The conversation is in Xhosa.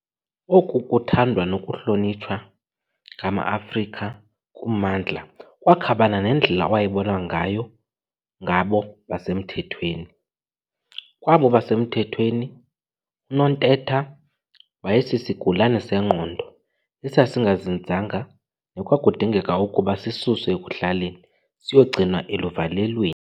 Oku kuthandwa nokuhlonitshwa ngamaAfrika kummandla kwakhabana nendlela ewayebonwa ngayo ngabo basemthethweni. Kwabo basemthethweni, uNontetha wayesisigulane sengqondo esingazinzanga nekwakudingeka ukuba sisuswe ekuhlaleni siyogcinwa eluvalelweni.